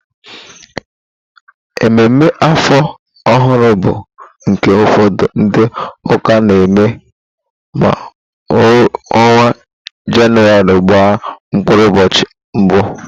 Emume áfọ̀ ọhụrụ bụ nke ụfọdụ ndị ụka na-eme ma ọnwa Jenụwarị gbaa mkpụrụ ụbọchị mbụ.